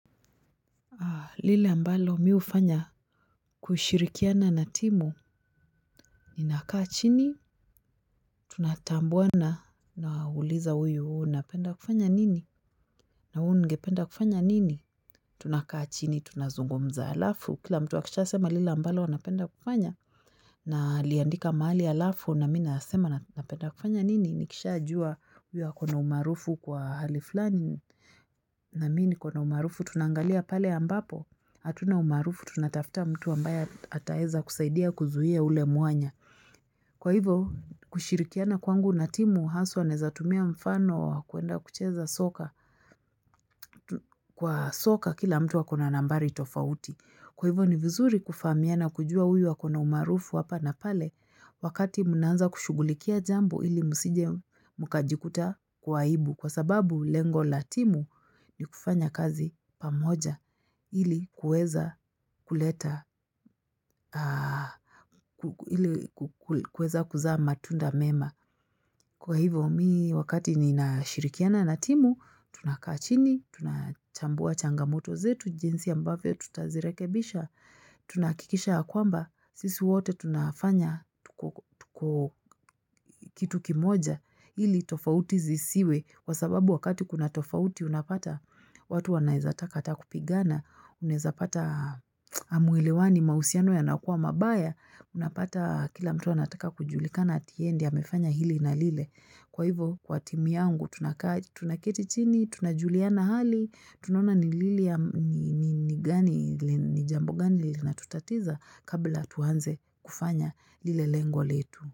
Lile ambalo mi hufanya kushirikiana na timu ninakaa chini, tunatambuana na uliza huyu unapenda kufanya nini, na huyu ungependa kufanya nini, tunakaa chini, tunazungumza alafu, kila mtu akisha sema lile ambalo anapenda kufanya, naliandika mahali alafu na mi nasema napenda kufanya nini, nikishajua huyu akona umarufu kwa hali fulani, na mimi niko na umarufu; tunangalia pale ambapo hatuna umarufu, tunatafuta mtu ambaye ataweza kusaidia kuzungumzia ule mwanya. Kwa hivo kushirikiana kwangu na timu haswa naeza tumia mfano wa kuenda kucheza soka. Kwa soka kila mtu akona nambari tofauti. Kwa hivo ni vizuri kufahamiana na kujua huyu akona umaarufu hapa na pale wakati mna anza kushugulikia jambo ili msije mkajikuta kwa aibu. Kwa sababu lengo la timu ni kufanya kazi pamoja ili kueza kuleta, kueza kuzaa matunda mema. Kwa hivo mi wakati nina shirikiana na timu, tunakaa chini, tunachambua changamoto zetu, jinsi ambavyo tutazirekebisha, tunahakikisha ya kwamba, sisi wote tunafanya tuko kitu kimoja ili tofauti zisiwe, Kwa sababu wakati kuna tofauti, unapata watu wanaeza taka ata kupigana, unaeza pata Hamuelewani. Mahusiano yanakuwa mabaya. Unapata kila mtu anataka kujulikana ati yeye, amefanya hili na lile. Kwa hivyo, kwa timu yangu, tunaketi chini, tunajuliana hali, tunona ni jambo gani linatutatiza kabla tuanze kufanya lile lengo letu.